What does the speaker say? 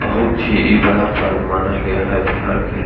बहुत ही इ बड़ा पर्व माना गया है बिहार के लि --